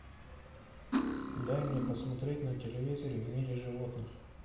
дай мне посмотреть на телевизоре в мире животных